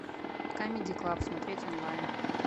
камеди клаб смотреть онлайн